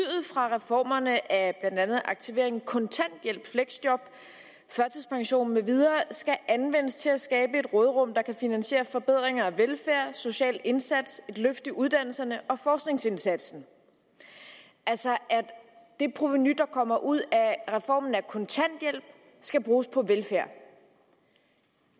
fra reformerne af aktivering kontanthjælp fleksjob førtidspension med videre skal anvendes til at skabe et råderum der kan finansiere forbedringer af velfærd social indsats et løft i uddannelserne og forskningsindsatsen altså at det provenu der kommer ud af reformen af kontanthjælpen skal bruges på velfærd